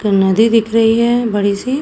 नदी दिख रही है बड़ी-सी।